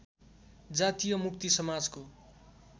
जातीय मुक्ति समाजको